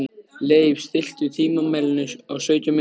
Leif, stilltu tímamælinn á sautján mínútur.